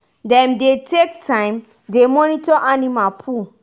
dem dey take time dey monitor animal poo.